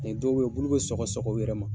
Mɛ dɔw be ye o bulu bɛ sɔgɔsɔgɔ u yɛrɛ ma